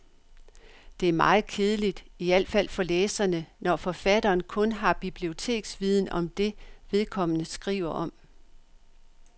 Det er meget kedeligt, i alt fald for læserne, når forfatteren kun har biblioteksviden om det, vedkommende skriver om.